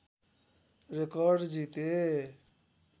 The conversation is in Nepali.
रेकर्ड जिते